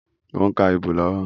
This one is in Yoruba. Mo ń ka ibo lọ́wọ́